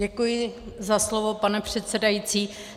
Děkuji za slovo, pane předsedající.